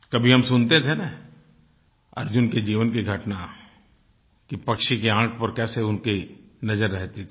कभी हम सुनते थे न अर्जुन के जीवन की घटना कि पक्षी की आँख पर कैसे उनकी नज़र रहती थी